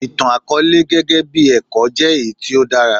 Ìtàn àkọọ́lẹ̀ gẹ́gẹ́ bí ẹ̀kọ́ jẹ́ èyí tí ó dára.